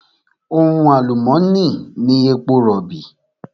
Ohun àlùmónì ni èpo rọ̀bì.